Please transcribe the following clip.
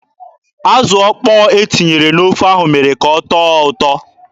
Azụ ọkpọ e tinyere n'ofe ahụ mere ka ọ tọọ ụtọ.